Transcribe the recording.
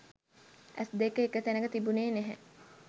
ඇස් දෙක එක තැනක තිබුණෙ නෑ